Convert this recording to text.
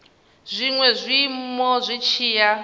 zwinwe zwiiimo zwi tshi ya